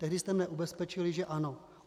Tehdy jste mě ubezpečili že ano.